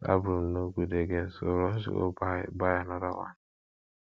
dat broom no good again so rush go buy buy another one